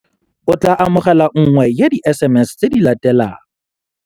O tla amogela nngwe ya di-SMS tse di latelang.